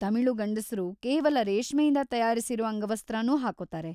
ತಮಿಳು ಗಂಡಸರು ಕೇವಲ ರೇಷ್ಮೆಯಿಂದ ತಯಾರಿಸಿರೋ ಅಂಗವಸ್ತ್ರನೂ ಹಾಕೊತಾರೆ.